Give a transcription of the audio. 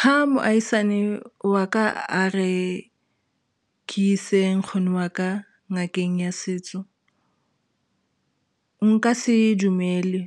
Ha moahisane wa ka a re ke ise nkgono wa ka ngakeng ya setso nka se e dumele